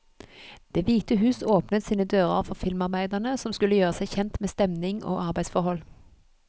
Det hvite hus åpnet sine dører for filmarbeiderne, som skulle gjøre seg kjent med stemning og arbeidsforhold.